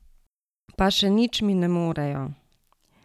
Pa še nič mi ne morejo.